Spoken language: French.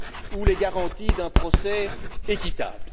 ou les garanties d'un procès équitable.